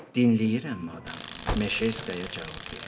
Dinləyirəm madam Meşerskaya cavab verdi.